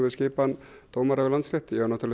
við skipan dómara við Landsrétt ég á